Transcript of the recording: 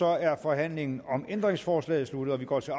er forhandlingen om ændringsforslaget sluttet og vi går til